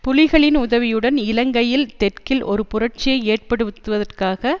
புலிகளின் உதவியுடன் இலங்கையில் தெற்கில் ஒரு புரட்சியை ஏற்படுத்துவதற்காக